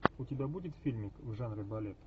у тебя будет фильмик в жанре балет